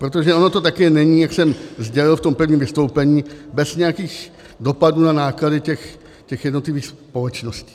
Protože ono to také není, jak jsem sdělil v tom prvním vystoupení, bez nějakých dopadů na náklady těch jednotlivých společností.